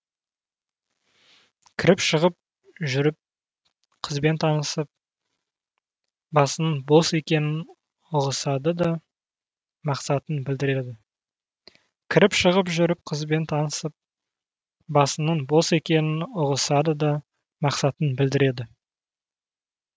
кіріп шығып жүріп қызбен танысып басының бос екенін ұғысады да мақсатын білдіреді